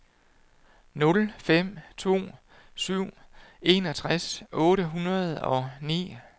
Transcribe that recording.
nul fem to syv enogtres otte hundrede og ni